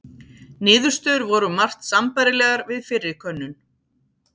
Niðurstöður voru um margt sambærilegar við fyrri könnun.